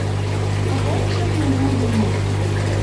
пополнить счет моего мобильного